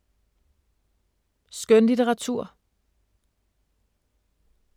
Skønlitteratur